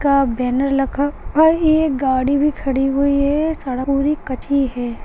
का बैनर लगा हुआ है ये एक गाड़ी भी खड़ी हुई है सड़क पूरी कच्ची है।